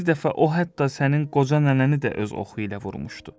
bir dəfə o hətta sənin qoca nənəni də öz oxu ilə vurmuşdu.